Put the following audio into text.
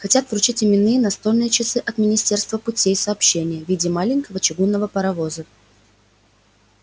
хотят вручить именные настольные часы от министерства путей сообщения в виде маленького чугунного паровоза